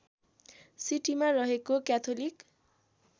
सिटीमा रहेको क्याथोलिक